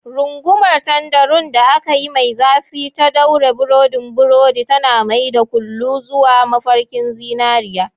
Rungumar tanderun da aka yi mai zafi ta ɗaure burodin burodi, tana mai da kullu zuwa mafarkin zinariya.